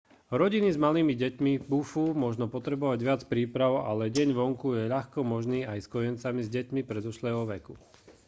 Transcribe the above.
rodiny s malými deťmi bufú možno potrebovať viac príprav ale deň vonku je ľahko možný aj s kojencami a deťmi predškolského veku